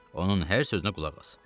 Onun hər sözünə qulaq as.